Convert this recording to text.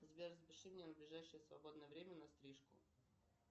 сбер запиши меня на ближайшее свободное время на стрижку